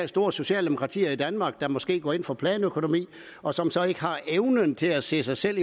store socialdemokratier i danmark der måske går ind for planøkonomi og som så ikke har evnen til at se sig selv